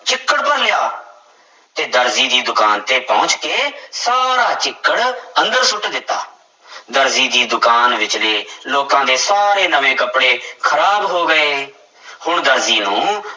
ਚਿੱਕੜ ਭਰ ਲਿਆ, ਤੇ ਦਰਜੀ ਦੀ ਦੁਕਾਨ ਤੇ ਪਹੁੰਚ ਕੇ ਸਾਰਾ ਚਿੱਕੜ ਅੰਦਰ ਸੁੱਟ ਦਿੱਤਾ ਦਰਜੀ ਦੀ ਦੁਕਾਨ ਵਿੱਚਲੇ ਲੋਕਾਂ ਦੇ ਸਾਰੇ ਨਵੇਂ ਕੱਪੜੇ ਖ਼ਰਾਬ ਹੋ ਗਏ ਹੁਣ ਦਰਜੀ ਨੂੰ